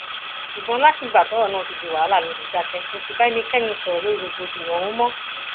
ṣùgbọn látìgbà tọrọ náà ti di wàhálà ló ti dákẹ kó sì bá ẹnikẹni sọrọ lórí rògbòdìyàn ọhún mọ